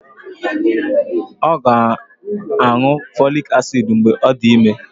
Ọ ga-aṅụ folic acid mgbe ọ dị ime